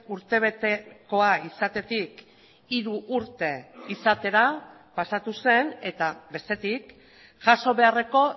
urtebetekoa izatetik hiru urte izatera pasatu zen eta bestetik jaso beharreko